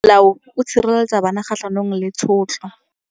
Molao o sireletsa bana kgatlhanong le tshotlo.